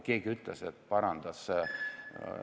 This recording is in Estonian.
Keegi ütles, parandas, et ...